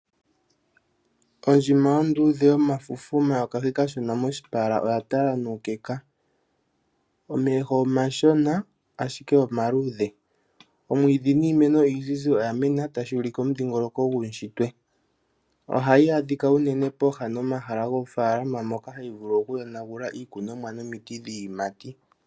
Ondjima onduudhe yomafufu omayokahi kashona moshipala oya tala nuukeka. Omeho omashona ashike omaluudhe. Omwiidhi niimeno oyindji oya mena tashi ulike omidhiingoloko guushitwe. Ohayi adhika unene pooha nomahala goofaalama moka hayi vulu oku yonagula iikunomwa nomiti dhiiyimati.